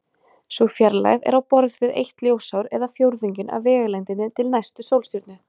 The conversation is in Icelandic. Sú fjarlægð er á borð við eitt ljósár eða fjórðunginn af vegalengdinni til næstu sólstjörnu.